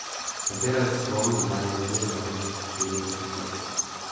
Katera je s kom, kdaj in kje, zadnjih štirideset let.